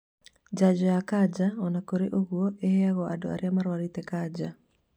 Njanjo cia kanja, ona kũrĩ ũguo, iheagwo andũ arĩa marwarĩte kanja